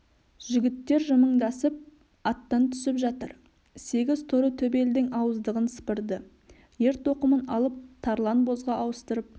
жігіттер жымыңдасып аттан түсіп жатыр сегіз торы төбелдің ауыздығын сыпырды ер тоқымын алып тарлан бозға ауыстырып